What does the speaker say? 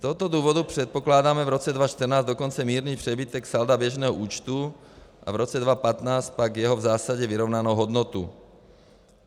Z tohoto důvodu předpokládáme v roce 2014 dokonce mírný přebytek salda běžného účtu a v roce 2015 pak jeho v zásadě vyrovnanou hodnotu.